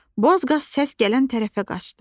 Boz qaz səs gələn tərəfə qaçdı.